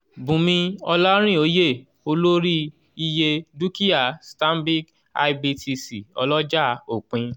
bùnmí olarinoye-olórí- iye dúkìá stanbic ibtc ọlọ́jà òpin.